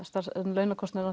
launakostnaður